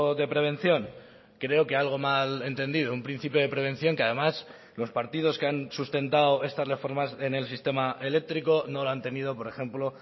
de prevención creo que algo malentendido un principio de prevención que además los partidos que han sustentado estas reformas en el sistema eléctrico no lo han tenido por ejemplo